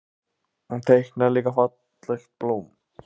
En hún teiknaði líka falleg blóm.